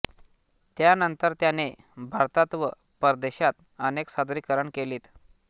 त्यानंतर त्याने भारतात व परदेशात अनेक सादरीकरणे केलीत